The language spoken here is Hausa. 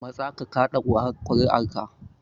Matsa ka kaɗa kuri'arka.